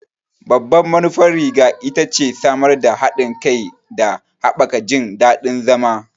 Babban manufar riga ita ce samar da haɗin kai da haɓaka jin daɗin zama.